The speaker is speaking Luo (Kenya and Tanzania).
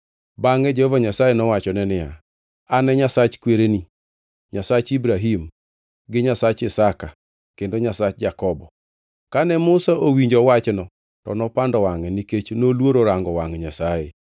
Bangʼe Jehova Nyasaye nowachone niya, “An e Nyasach kwereni, Nyasach Ibrahim gi Nyasach Isaka kendo Nyasach Jakobo.” Kane Musa owinjo wachno to nopando wangʼe, nikech noluoro rango wangʼ Nyasaye.